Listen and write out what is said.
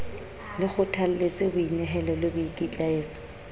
le kgothalletse boinehelo le boikitlaetso